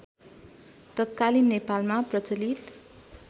तत्कालीन नेपालमा प्रचलित